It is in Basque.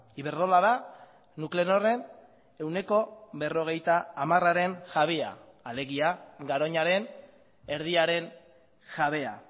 iberdrola da nuclenorren ehuneko berrogeita hamararen jabea alegia garoñaren erdiaren jabea